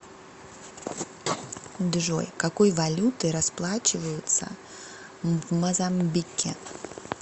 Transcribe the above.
джой какой валютой расплачиваются в мозамбике